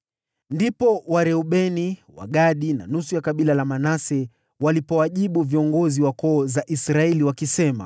Ndipo Wareubeni, Wagadi na nusu ya kabila la Manase walipowajibu viongozi wa koo za Israeli, wakisema: